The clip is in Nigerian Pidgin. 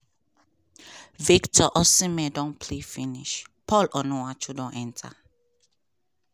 victor osimhen don play finish paul onuachu don enta.